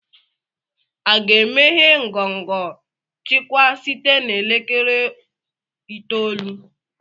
a ga-emeghe ngọngọ nchịkwa site na elekere itoolu?